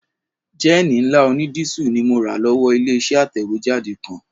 Jẹ́ẹ̀nì ńlá onídísù ni mo rà lọ́wọ́ ilé-iṣẹ́ atẹ̀wéjáde kan